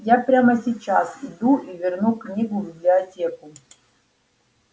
я прямо сейчас иду и верну книгу в библиотеку